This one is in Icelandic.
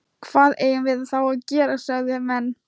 Hvað eigum við þá að gera? sögðu menn.